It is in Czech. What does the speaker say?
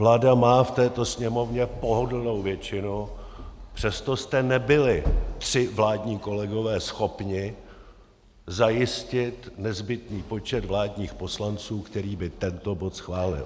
Vláda má v této Sněmovně pohodlnou většinu, přesto jste nebyli, tři vládní kolegové, schopni zajistit nezbytný počet vládních poslanců, který by tento bod schválil.